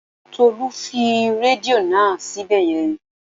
Tolú fi rédíò náà síbẹ̀ yẹn